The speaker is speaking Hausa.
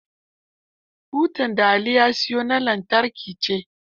Butar da Ali ya siyo ta lantarki ce.